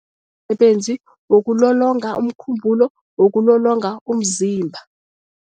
wokulolonga umkhumbulo, wokulolonga umzimba.